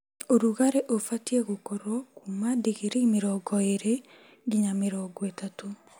Ũrugarĩ ubatiĩ gũkorwo kuuma digirii mĩrongo ĩĩri nginya mĩrongo ĩtatũ